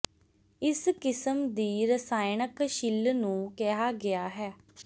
ਇਸ ਕਿਸਮ ਦੀ ਰਸਾਇਣਕ ਛਿੱਲ ਨੂੰ ਕਿਹਾ ਗਿਆ ਹੈ